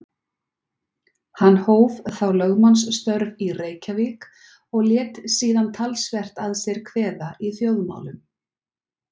Hann hóf þá lögmannsstörf í Reykjavík og lét síðan talsvert að sér kveða í þjóðmálum.